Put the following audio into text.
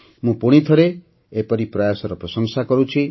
ମୁଁ ପୁଣିଥରେ ଏପରି ପ୍ରୟାସର ପ୍ରଶଂସା କରୁଛି